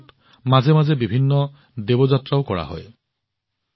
আমাৰ দেশত মাজে মাজে বিভিন্ন দেৱযাত্ৰাও হৈ আহে